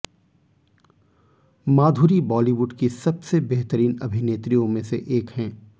माधुरी Bollywood की सबसे बेहतरीन अभिनेत्रियों में से एक है